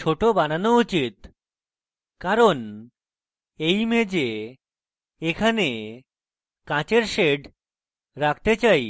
ছোট বানানো উচিত কারণ এই image এখানে কাঁচের shades রাখতে চাই